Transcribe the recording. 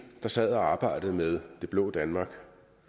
der sad og arbejdede med det blå danmark